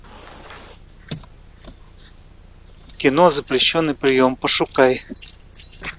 кино запрещенный прием пошукай